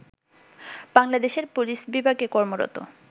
বাংলাদেশের পুলিশ বিভাগে কর্মরত